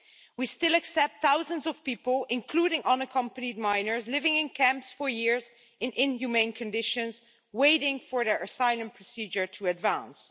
We still accept thousands of people, including unaccompanied minors, living in camps for years in inhumane conditions, waiting for their asylum procedure to advance.